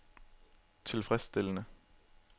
tilfredsstillende